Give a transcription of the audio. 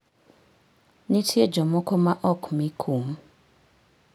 Nitie jomoko ma ok mi kum.